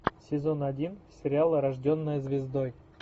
сезон один сериала рожденная звездой